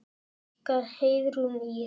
Ykkar Heiðrún Ýrr.